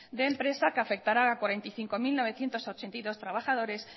de empresa que afectará a cuarenta y cinco mil novecientos ochenta y dos trabajadores